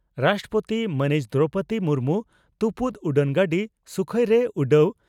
ᱨᱟᱥᱴᱨᱚᱯᱳᱛᱤ ᱢᱟᱹᱱᱤᱡ ᱫᱨᱚᱣᱯᱚᱫᱤ ᱢᱩᱨᱢᱩ ᱛᱩᱯᱩᱫ ᱩᱰᱟᱹᱱᱜᱟᱹᱰᱤ ᱥᱩᱠᱷᱚᱭᱨᱮ ᱩᱰᱟᱹᱣ